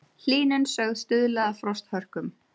Hlýnun sögð stuðla að frosthörkum